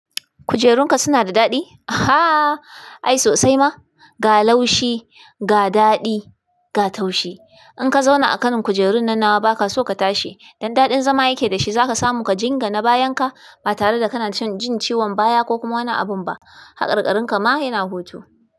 Kujerunka suna da daɗi? Aha! Ai sosai ma, ga laushi, ga daɗi, ga taushi. In ka zauna a kan kujerun nan nawa baka so ka tashi. Dan daɗin zama yake da shi za ka samu ka jingana bayan ka ba tare da kana jin ciwon baya ko kuma wani abin ba. Haƙarƙarin ka ma yana hoto.